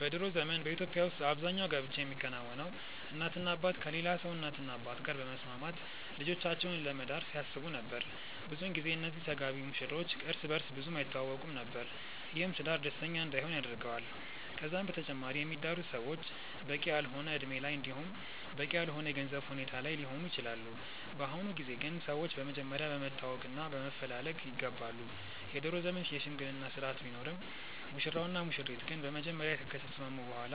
በ ድሮ ዘመን በኢትዮጵያ ውስጥ አብዛኛው ጋብቻ የሚከናወነው እናትና አባት ከሌላ ሰው እናትና አባት ጋር በመስማማት ልጆቻቸውን ለመዳር ሲያስቡ ነበር። ብዙን ጊዜ እነዚህ ተጋቢ ሙሽሮች እርስ በእርስ ብዙም አይተዋወቁም ነበር። ይህም ትዳር ደስተኛ እንዳይሆን ያደርገዋል። ከዛም በተጨማሪ የሚዳሩት ሰዎች በቂ ያልሆነ እድሜ ላይ እንዲሁም በቂ ያልሆነ የገንዘብ ሁኔታ ላይ ሊሆኑ ይችላሉ። በአሁኑ ጊዜ ግን ሰዎች በመጀመሪያ በመተዋወቅ እና በመፈላለግ ይጋባሉ። የድሮ ዘመን የሽምግልና ስርአት ቢኖርም ሙሽራው እና ሙሽሪት ግን በመጀመሪያ ከተስማሙ በኋላ